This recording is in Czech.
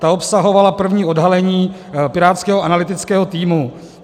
Ta obsahovala první odhalení pirátského analytického týmu.